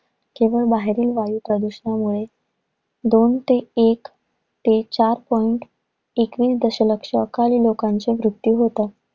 जेव्हा बाहेरून वायू प्रदूषणामुळे दोन ते एक ते चार point एकवीस दशलक्ष खाली लोकांचे मृत्यू होतात.